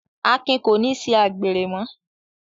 Akin kò ní ṣe àgbèrè mọ́